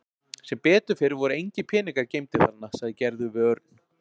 Sem betur fer voru engir peningar geymdir þarna sagði Gerður við Örn.